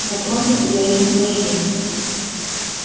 напротив я этим горжусь